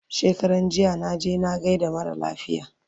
shekaranjiya naje na gaida mara lafiya